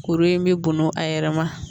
Kuru in bɛ bun a yɛrɛ ma